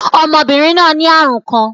Ọmọbinrin naa ni arun kan.